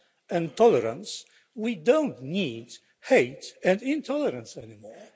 love and tolerance then we don't need hate and intolerance anymore.